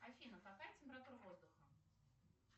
афина какая температура воздуха